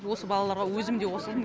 осы балаларға өзім де қосылдым